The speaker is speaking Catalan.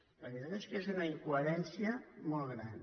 la veritat és que és una incoherència molt gran